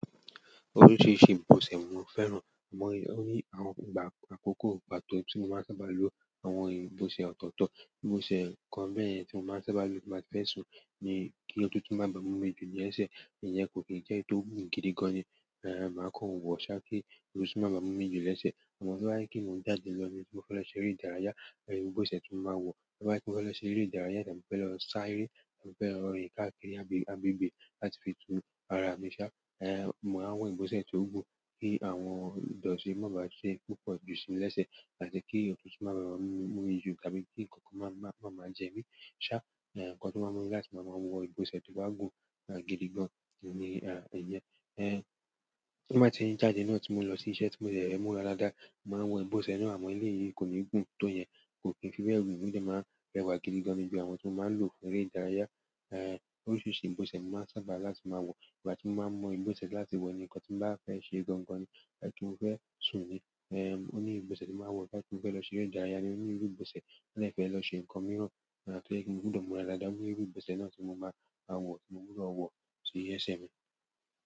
Oríṣiríṣi ìbọ̀sẹ̀ ni mò fẹ́ràn. Àmọ̀, ó ní àwọn ìgbà àkọ́kọ́ gba kan tí mò ń sábà lo àwọn ìbọ̀sẹ̀ ọ̀tọ̀ọ̀tọ̀. Ìbọ̀sẹ̀ kan bẹ́ẹ̀ yẹn tí mò máa ń sábà lo tí mo bá ti fẹ́ sùn ni kí òtútù má bá mu mi jù lẹ́sẹ̀, ìyẹn kò kí n jẹ́ tó gùn gidi gan ni. Èèò, màá kọ́n wọn wò ṣá kí òtútù má bá mu mi jù lẹ́sẹ̀. Àmọ́ to ba je pe mò ń jáde lọ ní, tí mò fẹ́ lọ ṣe eré ìdárayá, àyè ìbọ̀sẹ̀ tó máa wọ̀. Toba se pe mò fẹ́ lọ ṣe eré ìdárayá tàbí mò fẹ́ lọ sá eré tàbí mò fẹ́ lọ rìn káàkiri agbègbè láti fi tú ara mi ṣá, èèò, mò ń wọ ìbọ̀sẹ̀ tó gùn kí àwọn ìdọ̀tí má bá ṣe púpọ̀ jù sí mi lẹ́sẹ̀ tàbí kí òtútù má bá mu mi mójù tàbí kí ǹkan kan má máa jẹ mí ṣá, èèò, ǹkan tó máa mú láti máa wọ ìbọ̀sẹ̀ tó bá gùn gidi gan ni èèyẹn. Èè, tí mò bá ti ń jáde náà tí mò ń lọ sí iṣẹ́ tí mò ń dẹ́ múra dádàá, mò ń wọ ìbọ̀sẹ̀ náà àmọ́ ilé yìí kò ní gùn tó yẹn, kò kí n fi bẹ̀ gun bí ẹ máa ń rẹwà gidi gan níbi àwọn tí wọ́n máa ń lo fún eré ìdárayá. Èèò, oríṣiríṣi ìbọ̀sẹ̀ ni mò ń sábà láti máa wọ. Ìgbà tí mò ń máa mọ ìbọ̀sẹ̀ láti wọ ní ǹkan tí mò bá fẹ́ ṣe gangan ni ti mo fẹ́ sùn ni. È, ó ní ìbọ̀sẹ̀ tí màá wọ̀ jáde fẹ́ lọ ṣe eré ìdárayá ní òní, ìbọ̀sẹ̀ náà fẹ́ lọ ṣe ǹkan mìíràn tó jẹ́ kí n gbúdọ̀ múra ládàá, mo ní irú ìbọ̀sẹ̀ náà tí mò máa wọ̀ tí mo gbúdọ̀ wọ̀ sí iṣẹ́ mi.